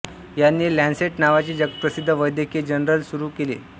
याने लॅन्सेट नावाचे जगप्रसिद्ध वैद्यकीय जर्नल सुरू केले